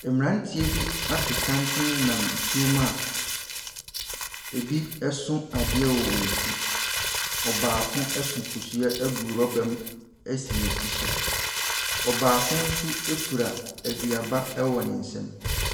Mmeranteɛ bi ato santene nam nsuomu a ɛbi so adeɛ wɔ wɔn ti. Ɔbaako so kosua gu rɔba mu asi ne ti so. Ɔbaako nso kura aduaba wɔ ne nsam.